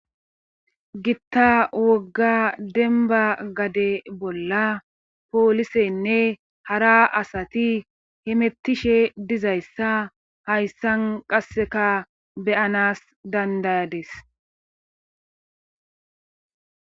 gitta wogga denba gade bolla poolisenne hara asati hemettishe dizayssa hayssan qasseka beyanas dandayades